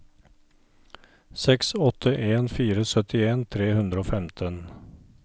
seks åtte en fire syttien tre hundre og femten